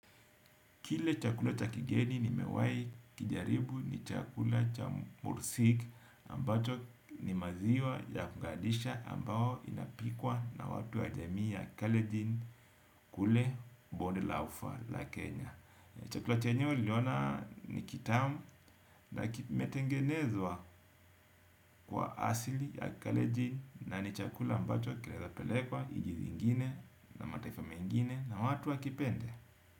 Kile chakula cha kigeni nimewahi kijaribu ni chakula cha mursik ambacho ni maziwa ya kugandisha ambao inapikwa na watu wa jamii ya kalenjin kule bonde la ufa la Kenya. Chakula chenyewe niliona ni kitamu na kimetengenezwa kwa asili ya kalenjin na ni chakula ambacho kinaezapelekwa nchi zingine na mataifa mengine na watu wakipende.